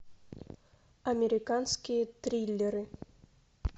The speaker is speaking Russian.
американские триллеры